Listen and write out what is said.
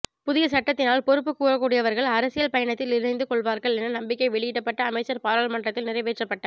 புதிய சட்டத்தினால் பொறுப்புக் கூறக்கூடியவர்கள் அரசியல் பயணத்தில் இணைந்து கொள்வார்கள் என நம்பிக்கை வெளியிடப்பட்ட அமைச்சர் பாராளுமன்றத்தில் நிறைவேற்றப்பட்ட